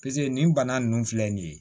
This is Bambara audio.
nin bana ninnu filɛ nin ye